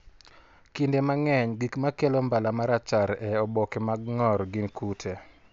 Kinde mang'eny, gik makelo mbala ma rachar e oboke mag ng'or gin kute.